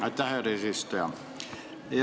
Aitäh, härra eesistuja!